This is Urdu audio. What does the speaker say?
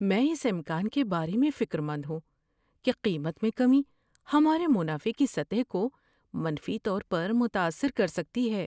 میں اس امکان کے بارے میں فکر مند ہوں کہ قیمت میں کمی ہمارے منافع کی سطح کو منفی طور پر متاثر کر سکتی ہے۔